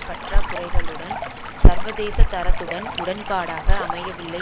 பற்றாகுறைகளுடன் சர்வதேச தரத்துடன் உடன்பாடாக அமையவில்லை